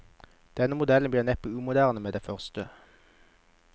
Denne modellen blir neppe umoderne med det første.